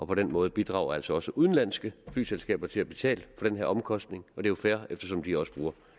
på den måde bidrager altså også udenlandske flyselskaber til at betale for den her omkostning og det er jo fair eftersom de også bruger